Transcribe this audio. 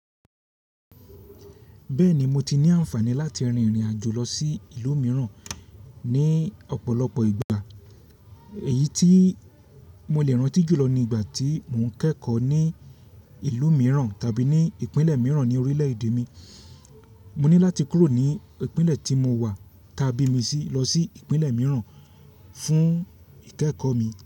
Bẹ́ẹ̀ ni, mo ti ní àǹfààní láti rin ìrìnàjò lọ sí ìlú mìíràn ní ọ̀pọ̀lọpọ̀ ìgbà. Èyí tí mo lè rántí jùlọ ni ìgbà tí mò ń kẹ́kọ̀ọ́ ní ìlú mìíràn tàbí ní ìpínlẹ̀ mìíràn ní orílẹ̀-èdè mi. Mo ní láti kúrò ní ìpínlẹ̀ tí mo wà taá bí mi sí lọ sí ìpínlẹ̀ mìíràn fún ìkẹ́kọ̀ọ́ mi.